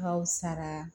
Ka fisa